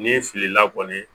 N'i filila kɔni